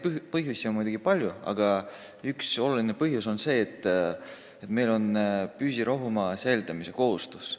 Põhjuseid on muidugi palju, aga üks oluline põhjus on see, et meil on püsirohumaa säilitamise kohustus.